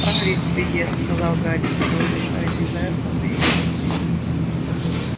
хагрид в беде сказал гарри тяжело дыша из-за этого мы и пришли